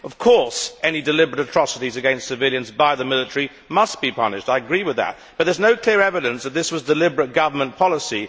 Of course, any deliberate atrocities against civilians by the military must be punished. I agree with that, but there is no clear evidence that this was deliberate government policy.